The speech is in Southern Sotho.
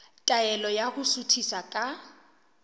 taelo ya ho suthisa ka